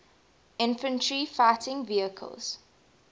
infantry fighting vehicles